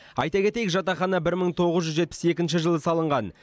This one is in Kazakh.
айта кетейік жатақхана бір мың тоғыз жүз жетпіс екінші жылы салынған